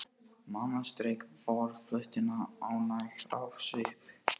Mamma strauk borðplötuna ánægð á svip.